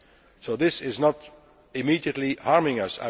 So this is not immediately harming